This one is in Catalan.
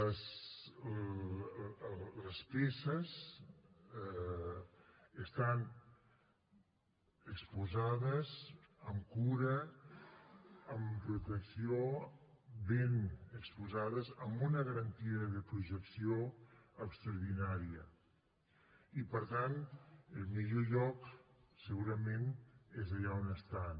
les peces estan exposades amb cura amb protecció ben exposades amb una garantia de protecció extraordinària i per tant el millor lloc segurament és allà on estan